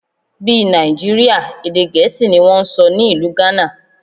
Bí Nàìjíríà, èdè Gẹ̀ẹ́sì ni wón ń sọ ní ìlú Ghana.